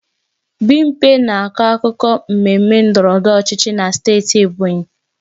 Bimpe na-akọ akụkọ mmemme ndọrọ ndọrọ ọchịchị na steeti Ebonyi